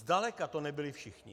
Zdaleka to nebyli všichni.